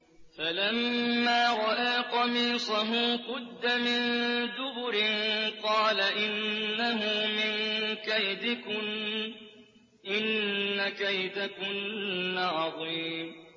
فَلَمَّا رَأَىٰ قَمِيصَهُ قُدَّ مِن دُبُرٍ قَالَ إِنَّهُ مِن كَيْدِكُنَّ ۖ إِنَّ كَيْدَكُنَّ عَظِيمٌ